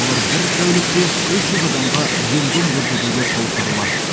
олар бір тәулікте үш жүз адамға ем дом көрсетуге қауқарлы